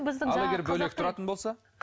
ал егер бөлек тұратын болса